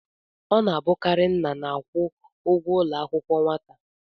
Ọ na-abụkarị nna na-akwụ ụgwọ ụlọ akwụkwọ nwata.